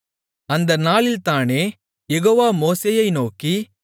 அந்த நாளிலேதானே யெகோவா மோசேயை நோக்கி